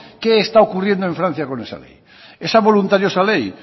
que está ocurriendo en francia con esa ley esa voluntariosa ley